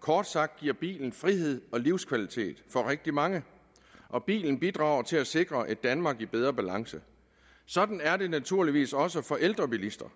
kort sagt giver bilen frihed og livskvalitet for rigtig mange og bilen bidrager til at sikre et danmark i bedre balance sådan er det naturligvis også for ældre bilister